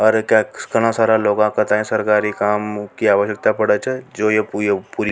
घणा सारा लोग का सरकारी काम की आवश्कता पड़े छ जो या पूरी --